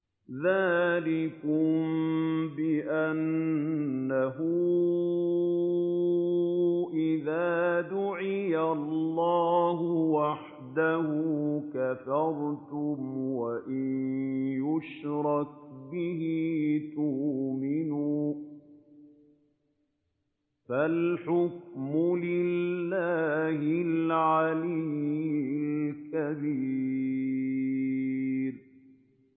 ذَٰلِكُم بِأَنَّهُ إِذَا دُعِيَ اللَّهُ وَحْدَهُ كَفَرْتُمْ ۖ وَإِن يُشْرَكْ بِهِ تُؤْمِنُوا ۚ فَالْحُكْمُ لِلَّهِ الْعَلِيِّ الْكَبِيرِ